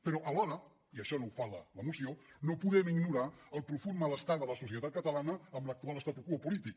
però alhora i això no ho fa la moció no podem ignorar el profund malestar de la societat catalana amb l’actual statu quo polític